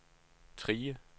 Trige